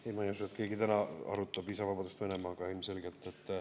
Ei, ma ei usu, et keegi täna arutab viisavabadust Venemaaga, ilmselgelt.